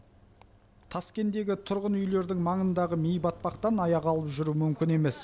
таскендегі тұрғын үйлердің маңындағы ми батпақтан аяқ алып жүру мүмкін емес